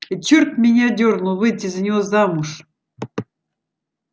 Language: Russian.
и чёрт меня дёрнул выйти за него замуж